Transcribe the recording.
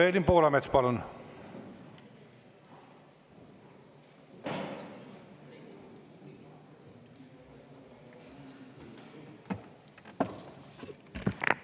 Evelin Poolamets, palun!